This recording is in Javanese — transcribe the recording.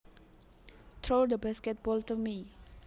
Throw the basketball to me